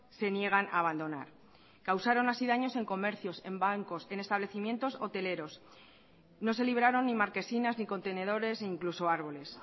se niegan a abandonar causaron así daños en comercios en bancos en establecimientos hoteleros no se libraron ni marquesinas ni contenedores incluso arbolés